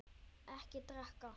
Ekki drekka.